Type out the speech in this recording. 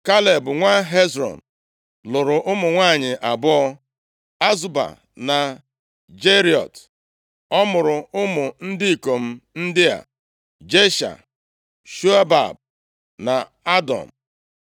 Kaleb nwa Hezrọn lụrụ ụmụ nwanyị abụọ, Azuba na Jeriọt. Ọ mụrụ ụmụ ndị ikom ndị a Jesha, Shobab na Adọn.